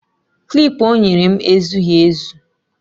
Klip o nyere m ezughị ezu